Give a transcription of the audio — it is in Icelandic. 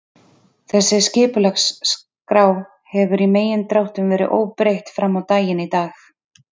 Þessi skipulagsskrá hefur í megindráttum verið óbreytt frammá daginn í dag.